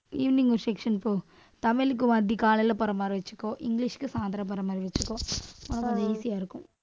evening ஒரு section போ. தமிழ்க்கு ஒருவாட்டி காலையில போற மாதிரி வச்சுக்கோ. இங்கிலிஷ்க்கு சாயந்திரம் போற மாதிரி வச்சுக்கோ. அவ்வளவுதான் அது easy ஆ இருக்கும்